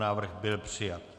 Návrh byl přijat.